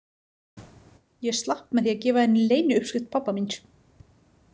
Ég slapp með því að gefa henni leyniuppskrift pabba míns.